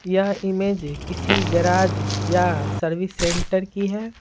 यह इमेज किसी गैराज या सर्विस सेंटर की है।